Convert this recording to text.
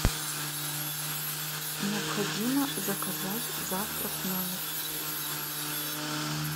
необходимо заказать завтрак в номер